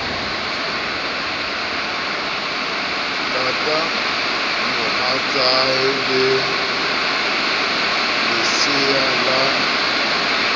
lata mohatsae le lesea la